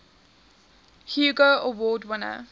hugo award winner